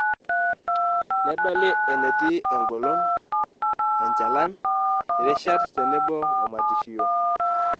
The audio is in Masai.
Nedoli eneti eng'olon, enchalan, irishat tenebo womatishio.